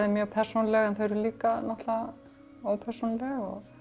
mjög persónuleg en þau eru líka náttúrulega ópersónuleg